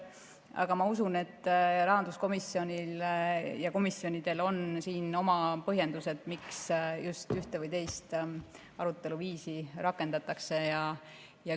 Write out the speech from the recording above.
Aga ma usun, et rahanduskomisjonil ja komisjonidel on oma põhjendused, miks ühte või teist aruteluviisi rakendatakse.